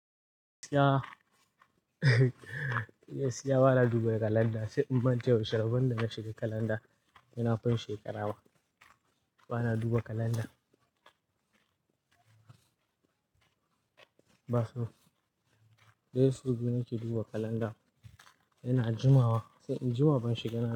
Gaskiya, ba na duba kalanda sai in mance yaushe rabon da na shiga kalanda, yana fin shekarawa. Ba na duba kalanda. Ba su, dai su gina ki duba kalanda. Yana jumawa, sai in ji wa ban shiga ba.